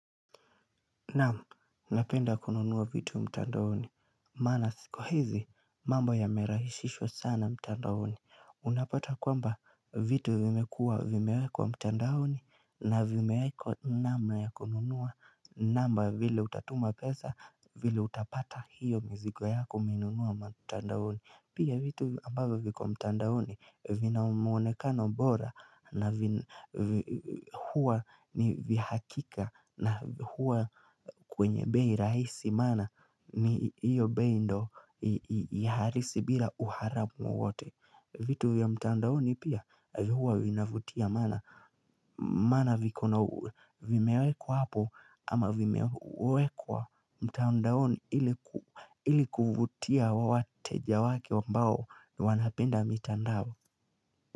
Naam, napenda kununua vitu mtandaoni. Maana siku hizi, mambo yamerahishishwa sana mtandaoni. Unapata kwamba vitu vimekua vimeekwa mtandaoni na vimewekwa namna ya kununua namba vile utatuma pesa vile utapata hiyo mizigo yako umeinunua mtandaoni. Pia vitu ambayo viko mtandaoni vina mwonekano bora na huwa ni vihakika na huwa kwenye bei raisi mana ni iyo bei ndo ya harisi bila uharamu wowote. Vitu ya mtandaoni pia hua inavutia mana vikona vimewekwa hapo ama vimewekwa mtandaoni ili kuvutia wateja wake ambao wanapenda mitandao.